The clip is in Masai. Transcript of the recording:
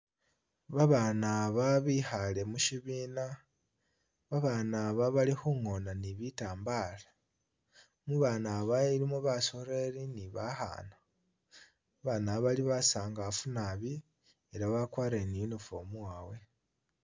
Abana aba bikhale musibina abana aba bali khungona ni'bitambala mubana aba ilimo basoleli ni bakhana abana aba bali basangafu naabi elah bakwarile ni uniform yawe.